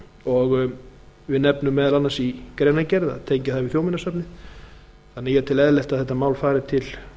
og við nefnum meðal annars í greinargerð að tengja það við þjóðminjasafnið þannig að ég tel eðlilegt að þetta mál fari til